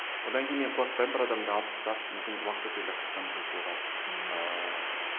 одан кейін мен қорықпаймын бір адамды алып тастап мүмкін уақыт өте келе қайтадан қосуға ыыы